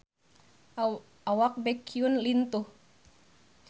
Awak Baekhyun lintuh